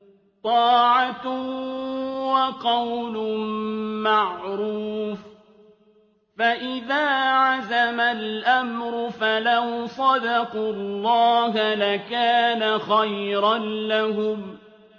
طَاعَةٌ وَقَوْلٌ مَّعْرُوفٌ ۚ فَإِذَا عَزَمَ الْأَمْرُ فَلَوْ صَدَقُوا اللَّهَ لَكَانَ خَيْرًا لَّهُمْ